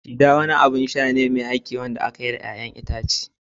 Cider wani abin sha ne mai haki da aka yi da ruwan 'ya'yan itace